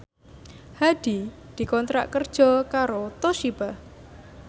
Hadi dikontrak kerja karo Toshiba